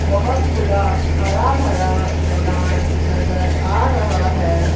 बहुत खुला हरा भरा मैदान नज़र आ रहा है।